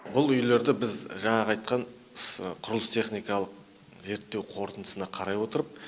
бұл үйлерді біз жаңағы айтқан құрылыс техникалық зерттеу қорытындысына қарай отырып